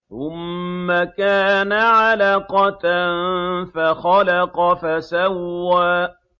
ثُمَّ كَانَ عَلَقَةً فَخَلَقَ فَسَوَّىٰ